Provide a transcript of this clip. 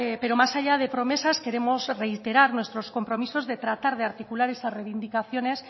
pero más allá de promesas queremos reiterar nuestros compromisos de tratar de articular esas reivindicaciones